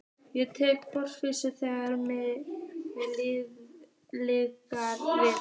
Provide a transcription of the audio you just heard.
Ég tek forystuna, þegar mikið liggur við!